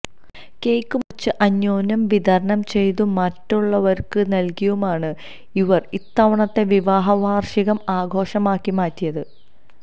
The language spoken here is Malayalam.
കേക്ക് മുറിച്ച് അന്യോന്യം വിതരണം ചെയ്തും മറ്റുള്ളവര്ക്ക് നല്കിയുമാണ് ഇവര് ഇത്തവണത്തെ വിവാഹ വാര്ഷികം ആഘോഷമാക്കി മാറ്റിയത്